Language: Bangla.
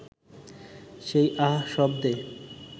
সেই আহ শব্দে